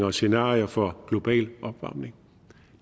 og scenarier for global opvarmning